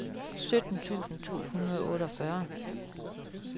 sytten tusind to hundrede og otteogfyrre